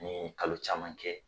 Ni y'o kalo caman kɛ.